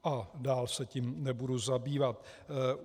A dál se tím nebudu zabývat.